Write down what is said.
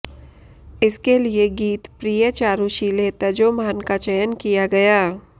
इसके लिए गीत प्रिये चारूशीले तजो मान का चयन किया गया